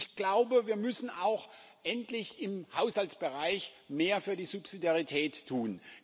Ich glaube, wir müssen endlich auch im Haushaltsbereich mehr für die Subsidiarität tun.